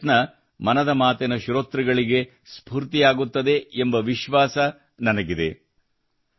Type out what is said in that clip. ಈ ಪ್ರಯತ್ನ ಮನದ ಮಾತಿನ ಶ್ರೋತೃಗಳಿಗೆ ಸ್ಫೂರ್ತಿಯಾಗುತ್ತದೆ ಎಂಬ ವಿಶ್ವಾಸ ನನಗಿದೆ